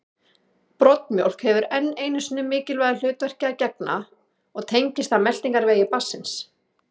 Broddmjólk hefur enn einu mikilvægu hlutverki að gegna og tengist það meltingarvegi barnsins.